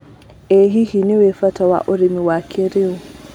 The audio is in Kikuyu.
ĩ hihi nĩũĩ bata wa ũrĩmi wa kĩrĩũ.